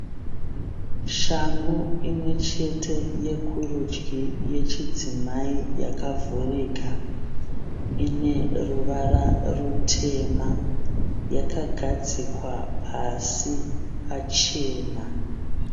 Shangu imwechete yekurudyi yechidzimai yakavhurika. Ine ruvara rutema. Yakagadzikwa pasi pachena.